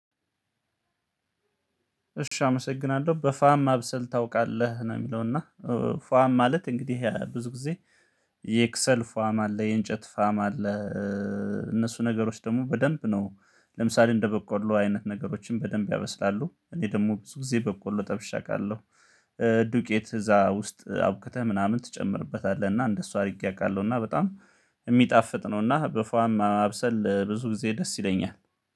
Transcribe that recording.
እሺ አመሰግናለሁ በፋም ማብሰል ታውቃለህ ነው የሚለው እና ፋም ማለት እንግዲህ ያ ብዙ ጊዜ የክሰል ፋም አለ የእንጨት ፋም አለ። እነሱ ነገሮች ደግሞ በደንብ ነው ለምሳሌ እንደበቆሎ አይነት ነገሮችን በደንብ ያበስላሉ እኔ ደግሞ ብዙ ጊዜ በቆሎ ጠብሸ አቃለሁ። ዱቄት እዛ ውስጥ አቡክተህ ምናምን ትጨምርበታለህ እና እንደሱ አድርጌ አውቃለሁ እና በጣም የሚጣፍጥ ነው። እና በፏም ማብሰል ብዙ ጊዜ ደስ ይለኛል